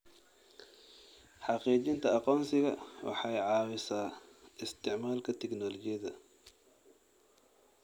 Xaqiijinta aqoonsiga waxay caawisaa isticmaalka tignoolajiyada.